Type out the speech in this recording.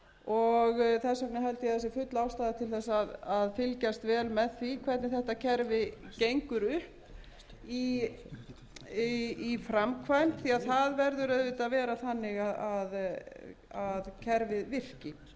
og þess vegna held ég að það sé full ástæða til þess að fylgjast vel með því hvernig þetta kerfi gengur upp í framkvæmd því að það verður auðvitað að vera þannig að kerfið virki ég vil síðan taka undir